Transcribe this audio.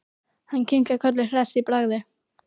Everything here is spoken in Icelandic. Hann kinkar kolli hress í bragði.